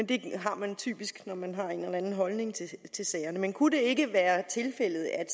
det har man typisk når man har en eller anden holdning til sagerne men kunne det ikke være tilfældet at